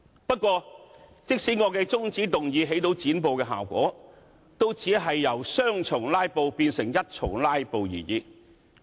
不過，即使我的中止待續議案起到"剪布"效果，也只是由雙重"拉布"變為一重"拉布"而已。